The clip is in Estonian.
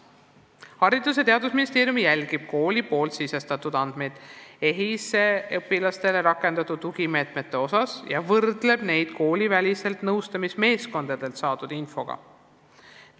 Haridus- ja Teadusministeerium jälgib kooli poolt EHIS-esse sisestatud andmeid rakendatud tugimeetmete kohta ja võrdleb neid koolivälistelt nõustamismeeskondadelt saadud infoga.